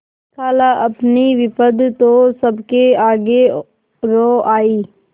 खालाअपनी विपद तो सबके आगे रो आयी